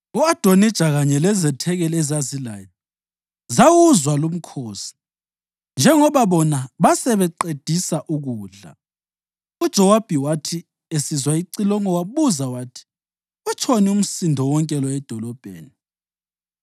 U-Adonija kanye lezethekeli ezazilaye zawuzwa lumkhosi njengoba bona basebeqedisa ukudla. UJowabi wathi esizwa icilongo wabuza wathi, “Utshoni umsindo wonke lo edolobheni?”